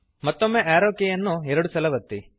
ಮತ್ತೊಮ್ಮೆ ಆರೋ ಕೀಯನ್ನು ಎರಡು ಸಲ ಒತ್ತಿರಿ